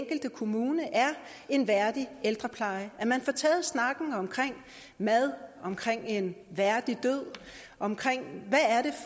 enkelte kommune er en værdig ældrepleje at man altså får taget snakken om mad om en værdig død om